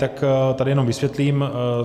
Tak tady jenom vysvětlím.